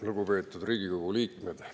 Lugupeetud Riigikogu liikmed!